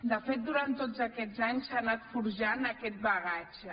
de fet durant tots aquests anys s’ha anat forjant aquest bagatge